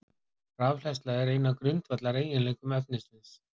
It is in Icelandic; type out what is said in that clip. Rafhleðsla er einn af grundvallareiginleikum efnisins.